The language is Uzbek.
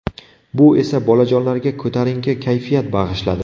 Bu esa bolajonlarga ko‘tarinki kayfiyat bag‘ishladi!